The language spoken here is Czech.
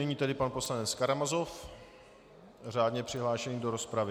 Nyní tedy pan poslanec Karamazov, řádně přihlášený do rozpravy.